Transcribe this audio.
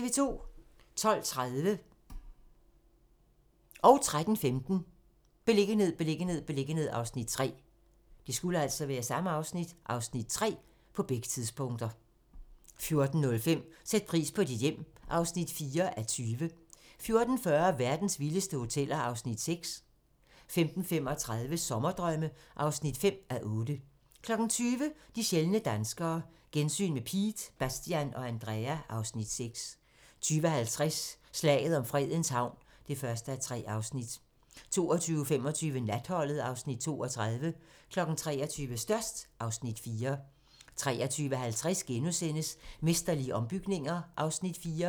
12:30: Beliggenhed, beliggenhed, beliggenhed (Afs. 3) 13:15: Beliggenhed, beliggenhed, beliggenhed (Afs. 3) 14:05: Sæt pris på dit hjem (4:20) 14:40: Verdens vildeste hoteller (Afs. 6) 15:35: Sommerdrømme (5:8) 20:00: De sjældne danskere - gensyn med Piet, Bastian og Andrea (Afs. 6) 20:50: Slaget om Fredens Havn (1:3) 22:25: Natholdet (Afs. 32) 23:00: Størst (Afs. 4) 23:50: Mesterlige ombygninger (Afs. 4)*